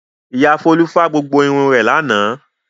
Ìyá Folú fá gbogbo irun rẹ̀ lánàá.